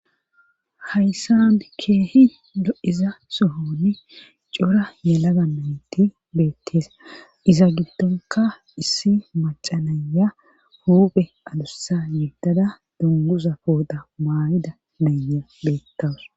Hayssa bikeehi lo'iza sohoni cora yalaga nayti beettees iza giddonka issi macanaya huuphe adussa yebdada dungusa poota maayida nayya beettawus.